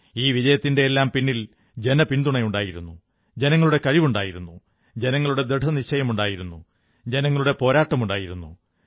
ഈ വിജയത്തിന്റെയെല്ലാം പിന്നിൽ ജനപിന്തുണയുണ്ടായിരുന്നു ജനങ്ങളുടെ കഴിവുണ്ടായിരുന്നു ജനങ്ങളുടെ ദൃഢനിശ്ചയമുണ്ടായിരുന്നു ജനങ്ങളുടെ പോരാട്ടമുണ്ടായിരുന്നു